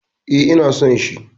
E, ina so shi.